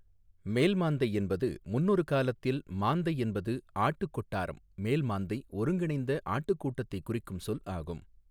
மேல்மாந்தை என்பது முன்னொரு காலத்தில் மாந்தை என்பது ஆட்டு கொட்டாரம் மேல்மாந்தை ஒருங்கிணைந்த ஆட்டுக் கூட்டத்தை குறிக்கும் சொல் ஆகும்.